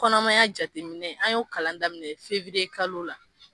Kɔnɔmaya jateminɛ, an y'o kalan daminɛ fiwiriyekalo la..